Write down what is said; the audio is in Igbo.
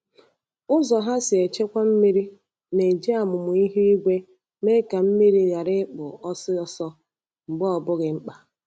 Ụzọ ha si echekwa mmiri na-eji amụma ihu igwe mee ka mmiri ghara ịkpụ ọsọ ọsọ mgbe ọ bụghị mkpa.